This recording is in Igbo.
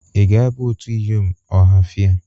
Ị ga-aba otu iyom Ohafia?